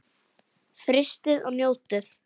Frystið og njótið.